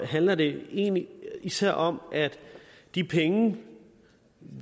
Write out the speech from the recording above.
handler det egentlig især om at de penge